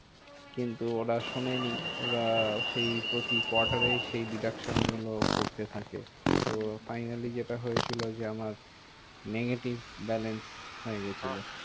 কিন্তু ওরা শোনেনি ওরা সেই প্রতি quarter এ সেই deduction গুলো করতে থাকে। তো Finally যেটা হয় ছিল যে, আমার negative balance হয়ে গেছিলো।